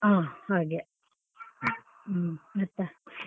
ಹಾ ಹಾಗೆ ಮತ್ತೆ?